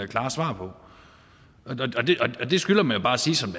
klare svar på og det skylder man jo bare at sige som